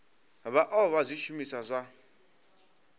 vha o vha zwishumiswa zwa